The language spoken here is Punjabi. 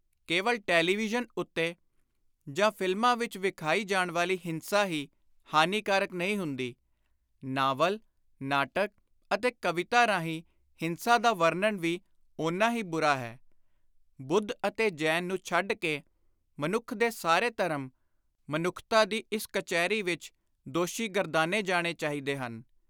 ਕੇਵਲ ਟੈਲੀਵਿਯਨ ਉੱਤੇ ਜਾਂ ਫ਼ਿਲਮਾਂ ਵਿਚ ਵਿਖਾਈ ਜਾਣ ਵਾਲੀ ਹਿੰਸਾ ਹੀ ਹਾਨੀਕਾਰਕ ਨਹੀਂ ਹੁੰਦੀ; ਨਾਵਲ, ਨਾਟਕ ਅਤੇ ਕਵਿਤਾ ਰਾਹੀਂ ਹਿੰਸਾ ਦਾ ਵਰਣਨ ਵੀ ਓਨਾ ਹੀ ਬੁਰਾ ਹੈ। ਬੁੱਧ ਅਤੇ ਜੈਨ ਨੂੰ ਛੱਡ ਕੇ ਮਨੁੱਖ ਦੇ ਸਾਰੇ ਧਰਮ, ਮਨੁੱਖਤਾ ਦੀ ਇਸ ਕਚਿਹਰੀ ਵਿਚ ਦੋਸ਼ੀ ਗਰਦਾਨੇ ਜਾਣੇ ਚਾਹੀਦੇ ਹਨ।